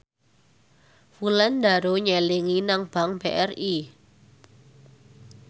Wulandari nyelengi nang bank BRI